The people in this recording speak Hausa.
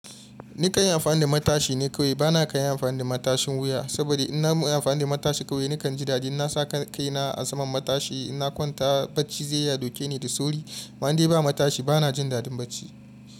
Ni kanyi amfani da matashi ne kawai. Bana kan iya amfani da matashin wuya, saboda in na amfani da matashi kawai nakan ji dadi. Na sa kaina a saman matashi, in na kwanta bacci zai iya dauke ni da sauri. Amma dai ba matashi bana jin dadin bacci.